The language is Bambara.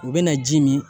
U bɛna ji min